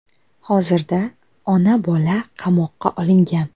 Hozirda ona-bola qamoqqa olingan.